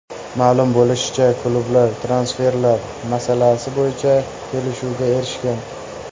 Ma’lum bo‘lishicha, klublar transferlar masalasi bo‘yicha kelishuvga erishgan.